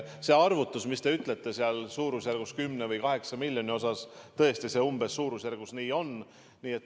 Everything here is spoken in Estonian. See arvutus, mis te ütlesite, et suurusjärgus 10 või 8 miljonit –, tõesti, umbes sellises suurusjärgus see on.